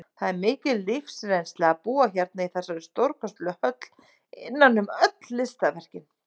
Það er mikil lífsreynsla að búa hérna í þessari stórkostlegu höll, innan um öll listaverkin.